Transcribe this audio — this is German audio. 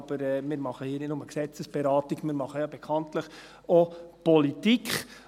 Aber wir machen hier nicht nur Gesetzesberatung, wir machen ja bekanntlich auch Politik.